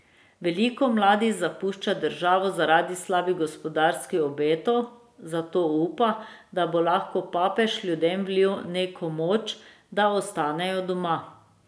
Veliko mladih zapušča državo zaradi slabih gospodarskih obetov, zato upa, da bo lahko papež ljudem vlil neko moč, da ostanejo doma.